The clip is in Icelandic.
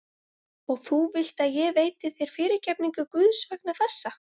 Og þú vilt að ég veiti þér fyrirgefningu Guðs vegna þessa?